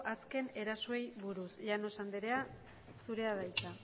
azken erasoei buruz llanos anderea zurea da hitza